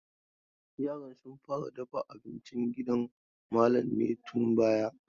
Yaran sun fara dafa abincin gidan malam ne tun bara.